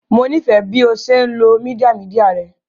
Mo nifẹ bi o ṣe nlo media media rẹ